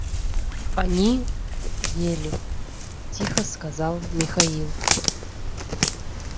они ели тихо сказал михаил